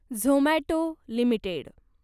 Zomato limited